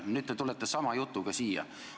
Nüüd te tulete sama jutuga siia.